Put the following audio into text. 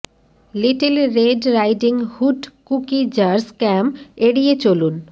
little red riding hood cookie jars scam এড়িয়ে চলুন